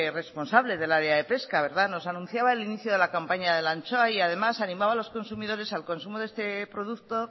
responsable del área de pesca nos anunciaba el inicio de la campaña de la anchoa y además animaba a los consumidores al consumo de este producto